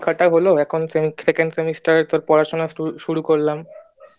হলো এখন second semester এর তোর পড়াশুনাটা শুরু করলাম‌